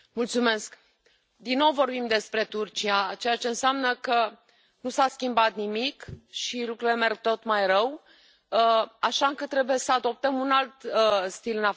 Doamnă președintă, din nou vorbim despre Turcia, ceea ce înseamnă că nu s a schimbat nimic și că lucrurile merg tot mai rău, așa că trebuie să adoptăm un alt stil.